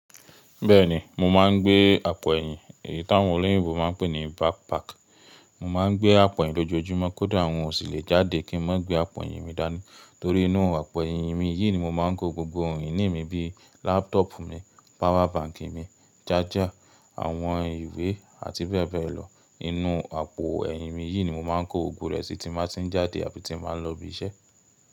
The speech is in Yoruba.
Bẹ́ẹ̀ni, mo máa ń gbé àpò ẹ̀yìn, èyí tí àwọn olóyìnbo máa ń pè ní backpack. Mo máa ń gbé àpò ẹ̀yìn lójoojúmọ́ kódà hun ò sìlẹ̀ jáde kí n má gbé àpò ẹ̀yìn mi dání. Torí inú àpò ẹ̀yìn mi yìí ni mo máa ń kó gbogbo ohun ìní mi bíi laptop mi, power bank mi, jájà, àwọn ìwé àti bẹ́ẹ̀ bẹ́ẹ̀ lọ. Inú àpò ẹ̀yìn mi yìí ni mo máa ń kó gbogbo rẹ̀ sí tí n bá ti ń jáde àbí tí n bá ń lọ ibi iṣẹ́.